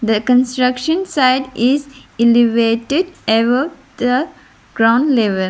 the construction site is elevated ever the ground level.